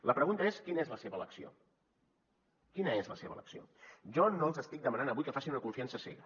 la pregunta és quina és la seva elecció quina és la seva elecció jo no els estic demanant avui que facin una confiança cega